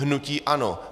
Hnutí ANO.